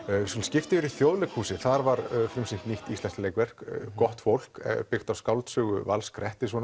við skulum skipta yfir í Þjóðleikhúsið þar var frumsýnt nýtt íslenskt leikverk gott fólk byggt á skáldsögu Vals